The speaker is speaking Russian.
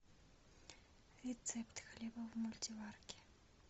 рецепт хлеба в мультиварке